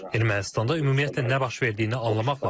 Ermənistanda ümumiyyətlə nə baş verdiyini anlamaq lazımdır.